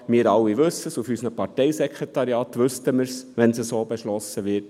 Wir alle wissen es, seitens der Parteisekretariate wüsste man es, wenn es so beschlossen würde: